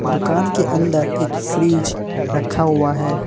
दुकान के अंदर एक फ्रिज रखा हुआ है।